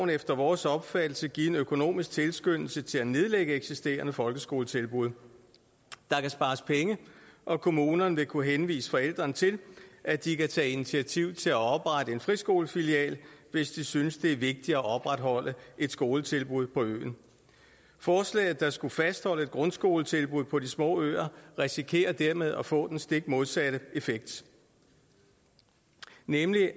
efter vores opfattelse give en økonomisk tilskyndelse til at nedlægge eksisterende folkeskoletilbud der kan spares penge og kommunerne vil kunne henvise forældrene til at de kan tage initiativ til at oprette en friskolefilial hvis de synes det er vigtigt at opretholde et skoletilbud på øen forslaget der skulle fastholde grundskoletilbud på de små øer risikerer dermed at få den stik modsatte effekt nemlig